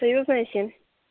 союзная семь